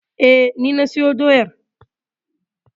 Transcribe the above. E, ni na sayo doyar.